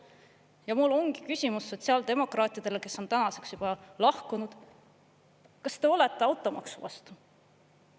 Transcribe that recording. Ja mul ongi küsimus sotsiaaldemokraatidele, kes on tänaseks juba lahkunud, kas te olete automaksu vastu.